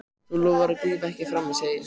Þú lofaðir að grípa ekki frammí, segi ég.